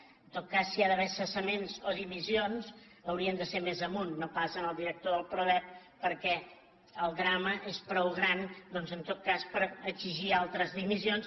en tot cas si hi ha d’haver cessaments o dimissions hauria de ser més amunt no pas en el director del prodep perquè el drama és prou gran doncs en tot cas per exigir altres dimissions